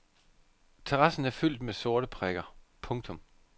Terrassen er fyldt med sorte prikker. punktum